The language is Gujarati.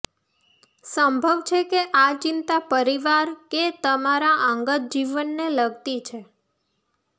સંભવ છે કે આ ચિંતા પરિવાર કે તમારા અંગત જીવનને લગતી છે